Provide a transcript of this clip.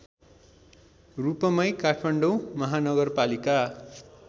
रूपमै काठमाडौँ महानगरपालिका